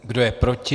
Kdo je proti?